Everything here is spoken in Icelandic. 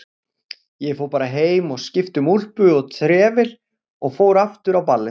Ég fór bara heim og skipti um úlpu og trefil og fór aftur á ballið.